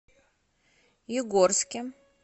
югорске